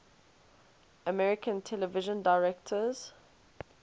american television directors